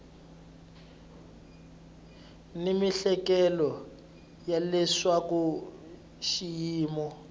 ni miehleketo ya leswaku xiyimo